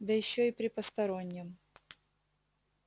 да ещё и при постороннем